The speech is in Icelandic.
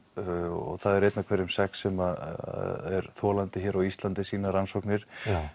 og það er einn af hverjum sex sem er þolandi hér á Íslandi sýna rannsóknir